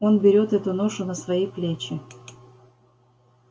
он берет эту ношу на свои плечи